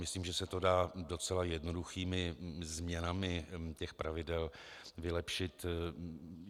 Myslím, že se to dá docela jednoduchými změnami těch pravidel vylepšit.